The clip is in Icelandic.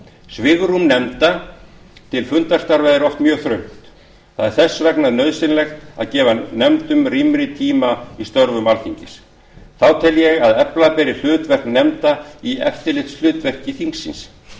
svigrúm nefnda til fundarstarfa er oft mjög þröngt það er þess vegna nauðsynlegt að gefa nefndum rýmri tíma í störfum alþingis þá tel ég að efla beri hlutverk nefnda í eftirlitshlutverki þingsins